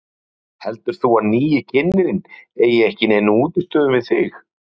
Lillý: Heldur þú að nýi kynnirinn eigi ekki í neinum útistöðum við þig?